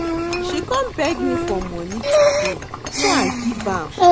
She come beg me for money today so I give am